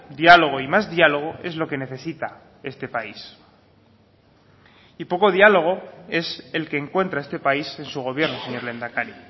diálogo y más diálogo es lo que necesita este país y poco diálogo es el que encuentra este país en su gobierno señor lehendakari